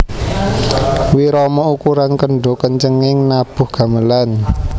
Wirama ukuran kendho kencenging nabuh gamelan